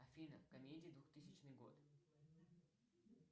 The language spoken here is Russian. афина комедии двухтысячный год